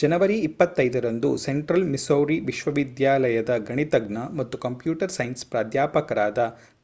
ಜನವರಿ 25 ರಂದು central Missouri ವಿಶ್ವವಿದ್ಯಾಲಯದ ಗಣಿತಜ್ಞ ಮತ್ತು ಕಂಪ್ಯೂಟರ್ ಸೈನ್ಸ್ ಪ್ರಾಧ್ಯಾಪಕರಾದ